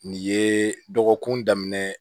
Nin ye dɔgɔkun daminɛ